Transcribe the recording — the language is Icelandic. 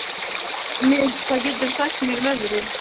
Myrk, hvað geturðu sagt mér um veðrið?